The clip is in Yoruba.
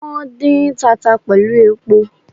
Wón dín tata pẹ̀lú epo